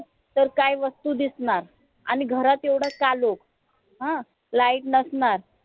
तर काय वस्तू दिसणार आणि घरात एवढा कालोख अं light नसणार